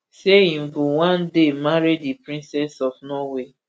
say im go one day marry di princess of norway